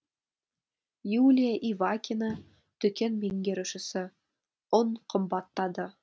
юлия ивакина дүкен меңгерушісі ұн қымбаттады